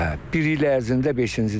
Hə, bir il ərzində beşincidir.